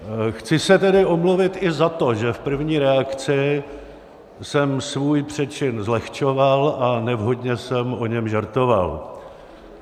Chci se tedy omluvit i za to, že v první reakci jsem svůj přečin zlehčoval a nevhodně jsem o něm žertoval.